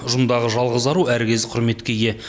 ұжымдағы жалғыз ару әркез құрметке ие